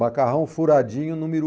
Macarrão furadinho número